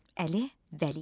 Əli Vəliyev.